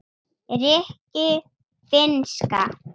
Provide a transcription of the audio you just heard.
rikki- finnska